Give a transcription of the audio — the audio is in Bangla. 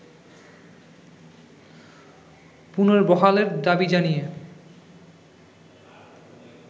পুনর্বহালের দাবি জানিয়ে